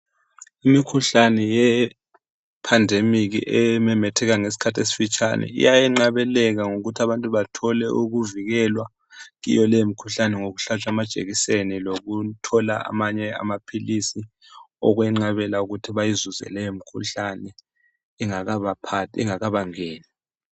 Imikhuhlane yepandemic, ememetheka ngesikhathi esifitshane. Iyayenqabeleka ngokuthi abantu bathole ukuvikelwa kiyo leyomikhuhlane, ngokuhlatshwa amajekiseni, lokuthola amamye amaphilisi okwenqabela ukuthi bayizuze leyomikhuhlane, ingakabaphathi, ingakabangeni.